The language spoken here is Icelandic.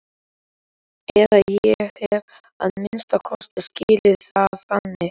Eða ég hef að minnsta kosti skilið það þannig.